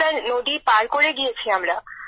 sir নদী পার করে গিয়েছি আমরা